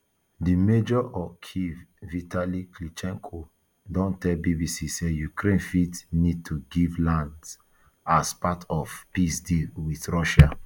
di major of kyiv vitali klitchko don tell bbc say ukraine fit need to give land as as part of peace deal wit russia